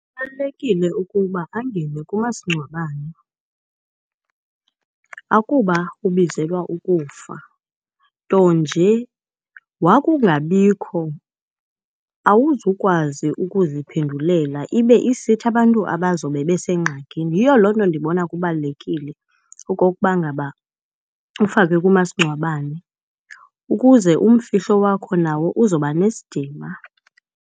Kubalulekile ukuba angene kumasingcwabane. Akuba ubizelwa ukufa ntonje wokungabikho awuzukwazi ukuziphendula ibe isithi abantu abazobe besengxakini. Yiyo loo nto ndibona kubalulekile okokuba ngaba ufakwe kumasingcwabane ukuze umfihlo wakho nawo uzoba nesidima.